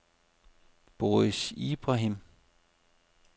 Boris Ibrahim